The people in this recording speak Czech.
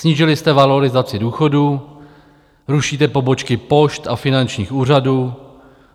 Snížili jste valorizaci důchodů, rušíte pobočky pošt a finančních úřadů.